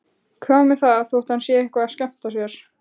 Hvað með það þótt hann sé eitthvað að skemmta sér?